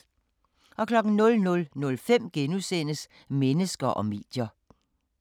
00:05: Mennesker og medier *